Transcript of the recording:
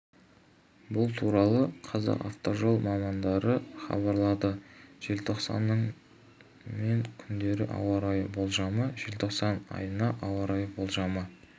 бұл туралы казақавтожол мамандары хабарлады желтоқсанның мен күндеріне ауа райы болжамы желтоқсан айына ауа райы болжамы